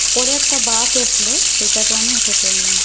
পরে একটা বাস আসলো সেটাতে আমি উঠে পড়লাম।